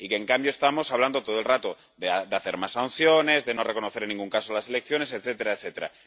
en cambio, estamos hablando todo el rato de imponer más sanciones, de no reconocer en ningún caso las elecciones, etcétera, etcétera.